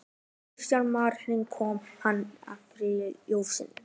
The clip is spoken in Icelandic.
Kristján Már: Hvernig kom hann þér fyrir sjónir?